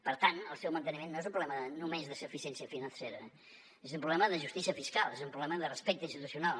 per tant el seu manteniment no és un problema només de suficiència financera és un problema de justícia fiscal és un problema de respecte institucional